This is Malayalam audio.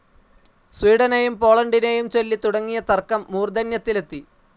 സ്വീഡനെയും പോളണ്ടിനേയും ചൊല്ലി തുടങ്ങിയ തർക്കം മൂർധന്യത്തിലെത്തി.